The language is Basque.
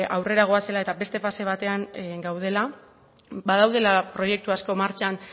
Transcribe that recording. aurrera goazela eta beste pase batean gaudela badaudela proiektu asko martxan